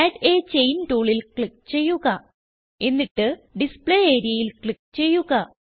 add a chain ടൂളിൽ click ചെയ്യുക എന്നിട്ട് ഡിസ്പ്ലേ areaയിൽ ക്ലിക്ക് ചെയ്യുക